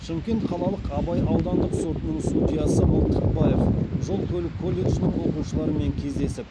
шымкент қалалық абай аудандық сотының судьясы мылтықбаев жол көлік колледжінің оқушыларымен кездесіп